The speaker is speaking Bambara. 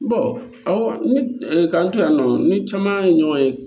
awɔ k'an to yan nɔ ni caman ye ɲɔgɔn ye